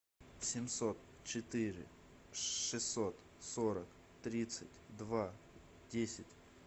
семьсот четыре шестьсот сорок тридцать два десять